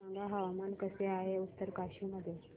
सांगा हवामान कसे आहे उत्तरकाशी मध्ये